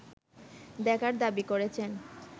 দেখার দাবি করেছেন